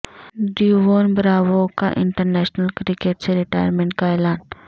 ڈیوون Bravo کا international cricket سے retirement کا اعلان